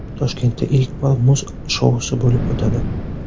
Toshkentda ilk bor muz shousi bo‘lib o‘tadi.